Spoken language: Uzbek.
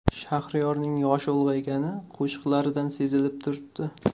Shahriyorning yoshi ulg‘aygani qo‘shiqlaridan sezilib turibdi.